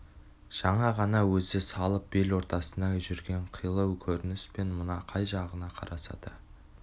жаңа ғана өзі салып бел ортасында жүрген қилы көрініс пен мына қай жағына қараса да